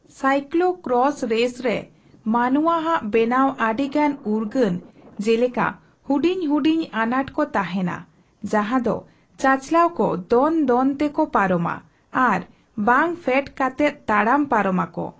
Cyclo cross race ᱨᱮ ᱢᱟᱱᱣᱟ ᱟᱜ ᱵᱮᱱᱟᱣ ᱟᱹᱰᱤ ᱜᱟᱱ ᱩᱨᱜᱟᱹᱱ ᱡᱮᱞᱮᱠᱟ ᱦᱩᱰᱤᱧ ᱦᱩᱰᱤᱧ ᱟᱱᱟᱴ ᱠᱚ ᱛᱟᱦᱮᱱᱟ, ᱡᱟᱦᱟᱸ ᱫᱚ ᱪᱟᱪᱟᱞᱟᱣ ᱠᱚ ᱫᱚᱱ ᱫᱚᱱ ᱛᱮᱠᱚ ᱯᱟᱨᱚᱢᱟ ᱟᱨ ᱵᱟᱝ ᱯᱷᱮᱰ ᱠᱟᱛᱮᱫ ᱛᱟᱲᱟᱢ ᱯᱟᱨᱚᱢ ᱟᱠᱚ ᱾